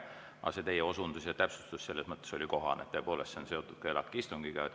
Aga see teie osundus ja täpsustus selles mõttes oli kohane, et tõepoolest, see on seotud ka ELAK‑i istungiga.